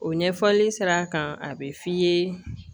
O ɲɛfɔli sira kan a bɛ f'i ye